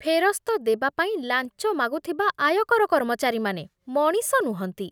ଫେରସ୍ତ ଦେବା ପାଇଁ ଲାଞ୍ଚ ମାଗୁଥିବା ଆୟକର କର୍ମଚାରୀମାନେ ମଣିଷ ନୁହନ୍ତି।